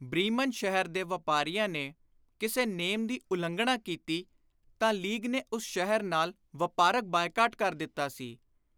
Bremen ਸ਼ਹਿਰ ਦੇ ਵਾਪਾਰੀਆਂ ਨੇ ਕਿਸੇ ਨੇਮ ਦੀ ਉਲੰਘਣਾ ਕੀਤੀ ਤਾਂ ਲੀਗ ਨੇ ਉਸ ਸ਼ਹਿਰ ਨਾਲ ਵਾਪਾਰਕ ਬਾਈਕਾਟ ਕਰ ਦਿੱਤਾ ਸੀ।